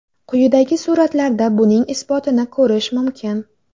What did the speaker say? Quyidagi suratlarda buning isbotini ko‘rish mumkin.